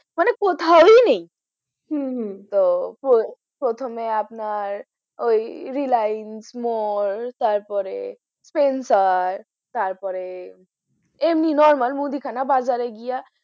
মানে কোথাওই নেই হম হম তো প্রথমে আপনার ওই reliance মোর তারপরে ফেন্সার তারপরে এমনি normal মুদিখানা বাজারে গিয়া,